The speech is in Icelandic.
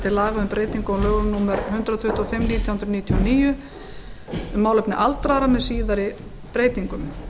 hundrað tuttugu og fimm nítján hundruð níutíu og níu um málefni aldraða með síðari breytingum